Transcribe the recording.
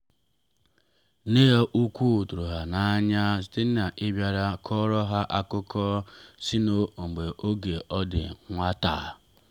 nne ha ukwu tụrụ ha n’anya site n’ịbịara kụọrọ ha akụkọ si n’oge ọ bụ nwata.